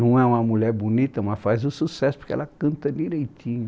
Não é uma mulher bonita, mas faz o sucesso porque ela canta direitinho.